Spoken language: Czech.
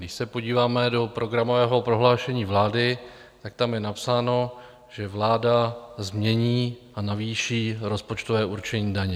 Když se podíváme do programového prohlášení vlády, tak tam je napsáno, že vláda změní a navýší rozpočtové určení daní.